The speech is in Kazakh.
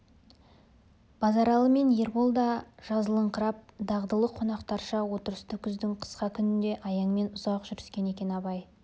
базаралы мен ербол да жазылыңқырап дағдылы қонақтарша отырысты күздің қысқа күнінде аяңмен ұзақ жүріскен екен абай